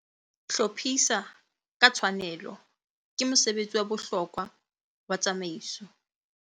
Hlophisa ka tshwanelo - ke mosebetsi wa bohlokwa wa tsamaiso